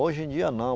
Hoje em dia, não.